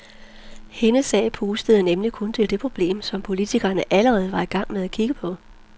Hendes sag pustede nemlig kun til det problem, som politikerne allerede var i gang med at kigge på.